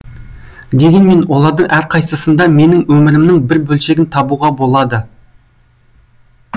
дегенмен олардың әрқайсысында менің өмірімнің бір бөлшегін табуға болады